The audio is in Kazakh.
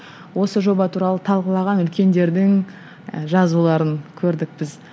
осы жоба туралы талқылаған үлкендердің і жазуларын көрдік біз